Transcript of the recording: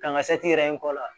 Kan ka yɛrɛ n kɔ la